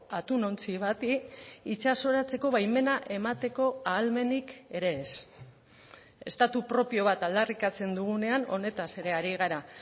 atunontzi bati itsasoratzeko baimena emateko ahalmenik ere ez estatu propio bat aldarrikatzen dugunean honetaz ere ari gara